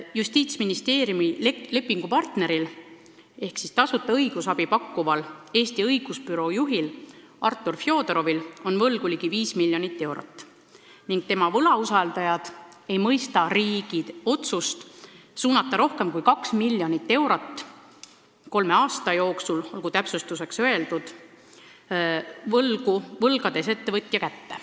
Justiitsministeeriumi lepingupartneri ehk tasuta õigusabi pakkuva Eesti Õigusbüroo juhil Artur Fjodorovil on võlgu ligi viis miljonit eurot ning tema võlausaldajad ei mõista riigi otsust suunata rohkem kui kaks miljonit eurot – kolme aasta jooksul, olgu täpsustuseks öeldud – võlgades ettevõtja kätte.